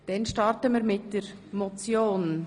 Wir starten mit der Motion.